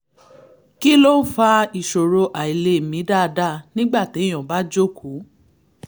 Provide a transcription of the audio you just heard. kí ló ń fa ìṣòro àìlèmí dáadáa nígbà téèyàn bá jókòó?